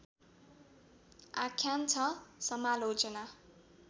आख्यान छ समालोचना